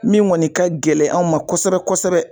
Min kɔni ka gɛlɛn an ma kosɛbɛ kosɛbɛ